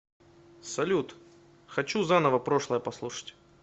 салют хочу заново прошлое послушать